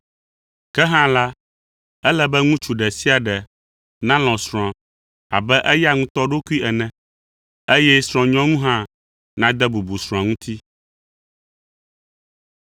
Ke hã la, ele be ŋutsu ɖe sia ɖe nalɔ̃ srɔ̃a abe eya ŋutɔ ɖokui ene, eye srɔ̃nyɔnu hã nade bubu srɔ̃a ŋuti.